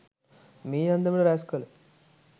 මේ අන්දමට රැස්කළ